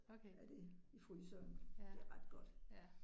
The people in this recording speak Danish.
Okay. Ja, ja